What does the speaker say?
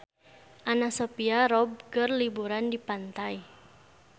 Anna Sophia Robb keur liburan di pantai